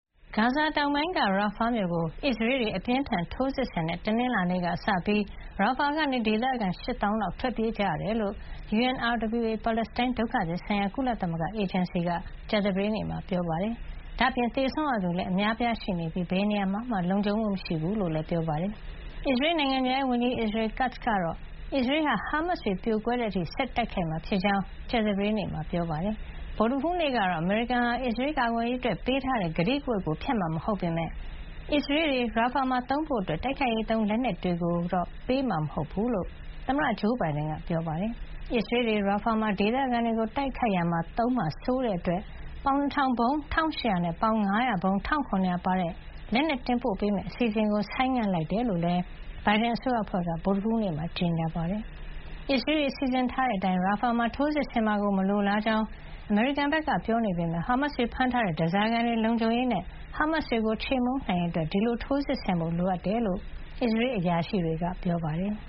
ဂါဇာတောင်ပိုင်းက ရာဖါမြို့ကို အစ္စရေးတွေ အပြင်းအထန်ထိုးစစ်ဆင်တဲ့ တနင်္လာနေ့ကစပြီး ရာဖါကနေ ဒေသခံ ၈ သောင်းလောက် ထွက်ပြေးကြရတယ်လို့ UNRWA ပါလက်စတိုင်း ဒုက္ခသည်ဆိုင်ရာကုလသမဂ္ဂ အေဂျင်စီက ကြာသပတေးနေ့မှာ ပြောပါတယ်။ ဒါ့အပြင် သေဆုံးရသူလည်း အများအပြားရှိနေပြီး ဘယ်နေရာမှ လုံခြုံမှုမရှိဘူးလို့လည်း ပြောပါတယ်။ အစ္စရေးနိုင်ငံခြားရေးဝန်ကြီး Israel Katz ကတော့ အစ္စရေးဟာ ဟာမတ်စ်တွေ ပြိုကွဲတဲ့ အထိ ဆက်လက်တိုက်ခိုက်မှာ ဖြစ်ကြောင်း ကြာသပတေးနေ့မှာ ပြောပါတယ်။ ဗုဒ္ဓဟူးနေ့ကတော့ အမေရိကန်ဟာ အစ္စရေးကာကွယ်ရေးအတွက်ပေးထားတဲ့ ကတိကဝတ်ကိုဖျက်မှာမဟုတ်ပေမယ့် အစ္စရေးတွေ ရာဖါမှာသုံးဖို့ တိုက်ခိုက်ရေးသုံး လက်နက်တွေကိုတော့ ပေးမှာမဟုတ်ကြောင်း သမ္မတဂျိုးဘိုင်ဒန်က ပြောခဲ့တာပါ။ အစ္စရေးတွေ ရာဖါမှာ ဒေသခံတွေကိုတိုက်ခိုက်ရာမှာ သုံးမှာစိုးတဲ့အတွက် ပေါင် ၂,၀၀၀ ဗုံး ၁,၈၀၀ နဲ့ ပေါင် ၅၀၀ ဗုံး ၁,၇၀၀ ပါတဲ့ လက်နက်တင်ပို့ပေးမယ့် အစီtစဉ်ကိုဆိုင်းငံ့လိုက်ကြောင်းလည်း ဘိုင်ဒန်အစိုးရအဖွဲ့က ဗုဒ္ဓဟူးနေ့က ကြေညာခဲ့ပါတယ်။ အစ္စရေးတွေ စီစဉ်ထားတဲ့အတိုင်း ရာဖါမှာ ထိုးစစ်ဆင်မှာကို မလိုလားကြောင်း အမေရိကန်ဘက်က ပြောနေပေမယ့် ဟာမတ်စ်တွေဖမ်းထားတဲ့ ဓါးစာခံတွေလုံခြုံရေးနဲ့ ဟာမတ်စ်တွေကို ချေမှုန်းနိုင်ရေးအတွက် ဒီလို ထိုးစစ်ဆင်ဖို့လိုအပ်တယ်လို့ အစ္စရေးအရာရှိတွေက ပြောပါတယ်။